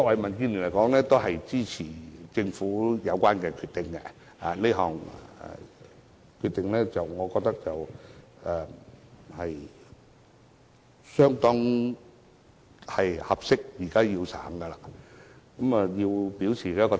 民建聯支持政府作出的有關決定，我也認為這是恰當的決定，現在應予實行，我想就此表態。